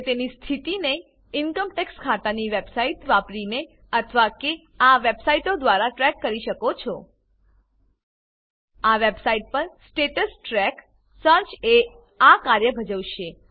તે તેની સ્થિતિને ઇન્કમ ટેક્સ ખાતાની વેબસાઈટ wwwincometaxindiagovin વાપરીને અથવા આ વેબસાઈટો દ્વારા ટ્રેક કરી શકો છો tintinnsdlcomtanstatustrackએચટીએમએલ wwwmyutiitslcomPANONLINEpanTrackerdo આ વેબસાઈટ પર સ્ટેટસ ટ્રેક સર્ચ એ આ કાર્ય ભજવશે